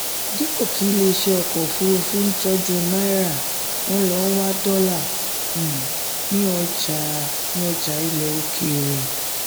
dípò kí ilé iṣẹ́ ọkọ̀ òfuurufú ń tọ́jú náírà wọ́n lọ wá dọ́là um ní ọjà ní ọjà ilẹ̀ òkèèrè.